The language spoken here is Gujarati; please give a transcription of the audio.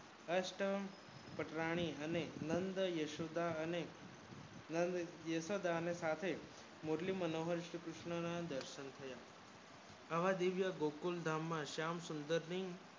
અસ્ટન પટરાણી અને નંદ યશોદા નંદ અને યશોદાની સાથે મુરલી મનોહર શ્રી કૃસ્ણ ના દર્શન થયા આ દિવ્ય ગોકુલ ધામ માં શામ સુંદર ની